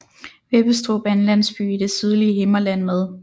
Vebbestrup er en landsby i det sydlige Himmerland med